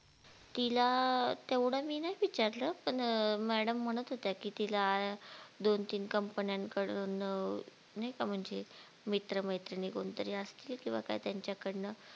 तिला अं तेवढं मी नाय विचारलं पण अं madam म्हणत होत्या की तिला दोन तीन कंपन्याकडून अं नाय का म्हणजे मित्र मैत्रीणी कोणतरी असतील किंवा काय त्यांच्या कडनं